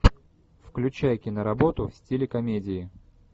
включай киноработу в стиле комедии